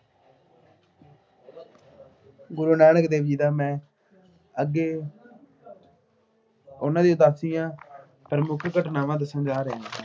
ਗੁਰੂ ਨਾਨਕ ਦੇਵ ਜੀ ਦਾ ਮੈਂ ਅੱਗੇ ਉਹਨਾ ਦੀ ਉਦਾਸੀਆਂ ਅਤੇ ਪ੍ਰਮੁੱਖ ਘਟਨਾਵਾਂ ਦੱਸਣ ਜਾ ਰਿਹਾ ਹਾਂ।